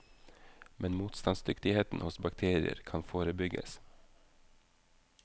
Men motstandsdyktighet hos bakterier kan forebygges.